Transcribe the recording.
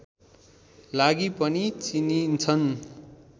लागि पनि चिनिन्छन्